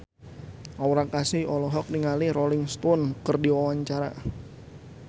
Aura Kasih olohok ningali Rolling Stone keur diwawancara